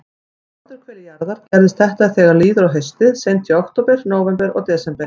Á norðurhveli jarðar gerist þetta þegar líður á haustið, seint í október, nóvember og desember.